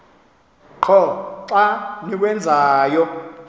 qho xa niwenzayo